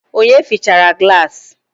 Onye fịchara gilasi?